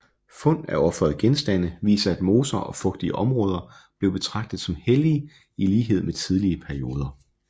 Fund af ofrede genstande viser at moser og fugtige områder blev betragtet som hellige i lighed med tidligere perioder